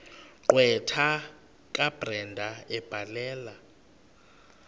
gqwetha kabrenda ebhalela